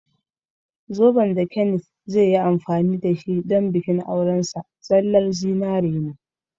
Zoben da Kenneth zai yi amfani da shi don bikin aurensa zallan zinari ne.